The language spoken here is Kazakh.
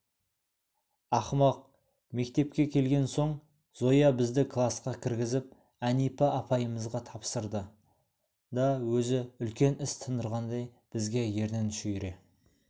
ақымақ мектепке келген соң зоя бізді класқа кіргізіп әнипа апайымызға тапсырды да өзі үлкен іс тындырғандай бізге ернін шүйіре